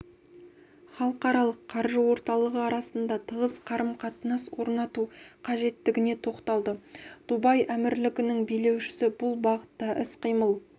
халықаралық қаржы орталығы арасында тығыз қарым-қатынас орнату қажеттігіне тоқталды дубай әмірлігінің билеушісі бұл бағытта іс-қимыл